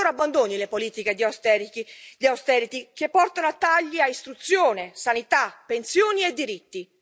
Allora abbandoni le politiche di austerity che portano a tagli a istruzione, sanità, pensioni e diritti.